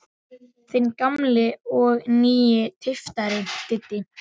Þinn gamli og nýi tyftari, Diddi.